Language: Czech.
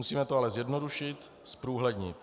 Musíme to ale zjednodušit, zprůhlednit.